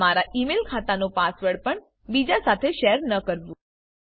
તમારા email ખાતાનો પાસવર્ડ પણ બીજા સાથે શેર ન કરવું